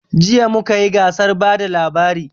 Jiya mu kayi gasar bada labari